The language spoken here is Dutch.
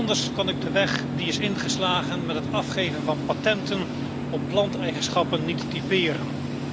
Anders kan ik de weg die is ingeslagen met het afgeven van patenten op planteigenschappen niet typeren.